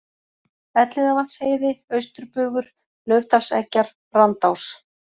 Elliðavatnsheiði, Austurbugur, Laufdalseggjar, Brandás